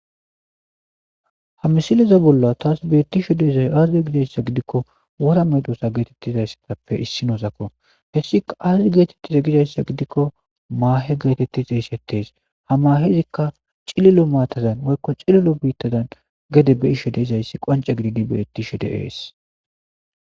Ha misileza bolla taas beettisho deezay aazde gidayssa gidikko wora medosa geetettizayssatappe issi noosakko hessia aazdi geetettiza gidayssa gidikko maahe geetettiz a issettees ha mahe zikka cililo maatazan woykko cililo biittadan gede be ishe deizayssi qance gididi beettisho deees.